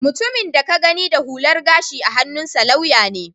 Mutumin da ka gani da hular gashi a hannunsa lauya ne